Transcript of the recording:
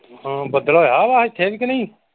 ਹੋਰ ਬਦਲ ਹੋਇਆ ਵਾ ਇੱਥੇ ਕਿ ਨਹੀਂ।